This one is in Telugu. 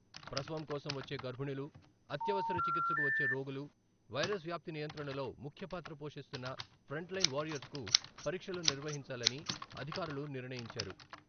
ప్రసవం కోసం వచ్చే గర్భిణులు అత్యవసర చికిత్స కు వచ్చే రోగులు వైరస్ వ్యాప్తి నియంత్రణలో ముఖ్యపాత్ర పోషిస్తున్న 'ఫ్రంట్లైన్ వారియర్స్' కు పరీక్షలు నిర్వహించాలని అధికారులు నిర్ణయించారు.